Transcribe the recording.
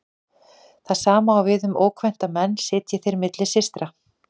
Það sama á við um ókvænta menn sitji þeir milli systra.